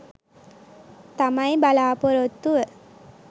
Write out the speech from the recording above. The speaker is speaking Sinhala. තමයි බලා‍පොරොත්තුව.